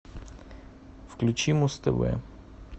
включи муз тв